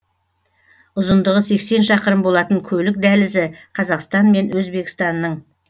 ұзындығы сексен шақырым болатын көлік дәлізі қазақстан мен өзбекстанның